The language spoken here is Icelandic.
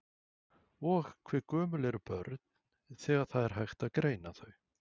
Og hve gömul eru börn þegar það er hægt að greina þau?